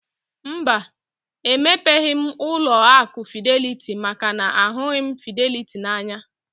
Mba, emepeghi m ụlọ akụ fideliti maka na ahụghị m fideliti n'anya